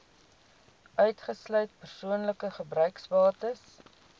uitgesluit persoonlike gebruiksbates